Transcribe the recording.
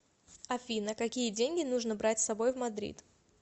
афина какие деньги нужно брать с собой в мадрид